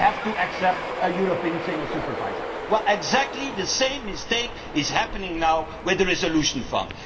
happened? They had to accept a European single supervisor. Well, exactly the same mistake is being made now with the resolution